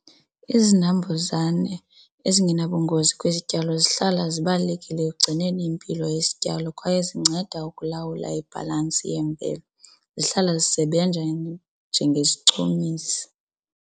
Izinambuzane ezingenabungozi kwizityalo zihlala zibalulekile ekugcineni impilo isityalo kwaye zinceda ukulawula ibhalansi yemveli, zihlala zisebenza njengesichumisi.